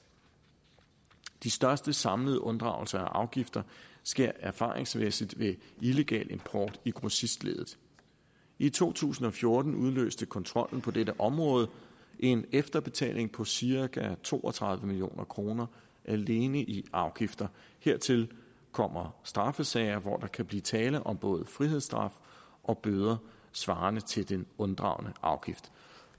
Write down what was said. de største samlede unddragelser af afgifter sker erfaringsmæssigt ved illegal import i grossistleddet i to tusind og fjorten udløste kontrollen på dette område en efterbetaling på cirka to og tredive million kroner alene i afgifter hertil kommer straffesager hvor der kan blive tale om både frihedsstraf og bøder svarende til den unddragne afgift